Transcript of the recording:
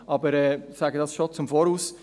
Ich sage es bereits im Voraus: